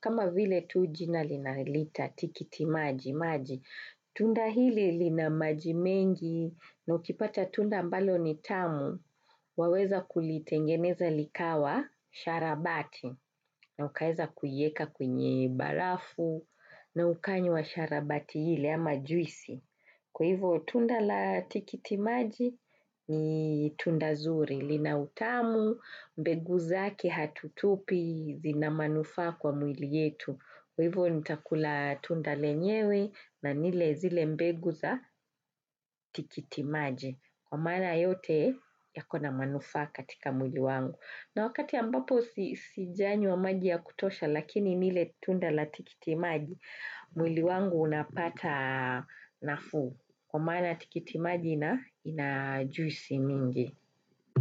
kama vile tu jina linaliita tikitimaji maji Tunda hili lina maji mengi na ukipata tunda ambalo ni tamu Waweza kulitengeneza likawa sharabati na ukaeza kuieka kwenye barafu na ukanywa sharabati hili ama juisi. Kwa hivo tunda la tikitimaji ni tunda nzuri, lina utamu, mbegu zake hatutupi ina manufaa kwa mwili yetu. Kwa hivo nitakula tunda lenyewe na nile zile mbegu za tikitimaji. Kwa maana yote yakona manufaa katika mwili wangu. Na wakati ambapo sijanywa maji ya kutosha lakini nile tunda la tikitimaji, mwili wangu unapata nafuu Kwa maana tikitimaji ina juisi mingi.